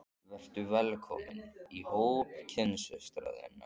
Vertu velkomin í hóp kynsystra þinna.